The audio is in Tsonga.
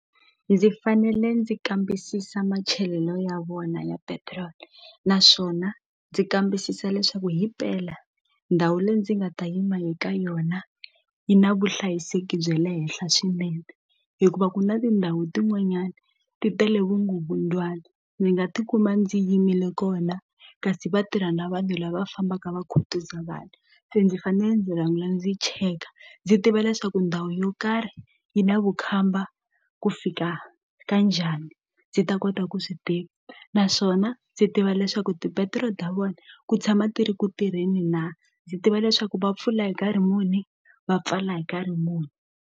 Ndzi fanele ndzi kambisisa machalelo ya vona ya petiroli naswona ndzi kambisisa leswaku himpela ndhawu leyi ndzi nga ta yima eka yona yi na vuhlayiseki bye le henhla swinene hikuva ku na tindhawu tin'wanyana ti tele vukungundzwana ndzi nga tikuma ndzi yimile kona kasi vatirha na vanhu lava fambaka va khutuza vanhu se ndzi fanele ndzi rhanga ndzi cheka ndzi tiva leswaku ndhawu yo karhi yi na vukhamba ku fika ka njhani ndzi ta kota ku swi tiva naswona ndzi tiva leswaku tipetiroli ta vona ku tshama ti ri ku tirheni na ndzi tiva leswaku va pfula hi nkarhi muni va pfala hi nkarhi muni.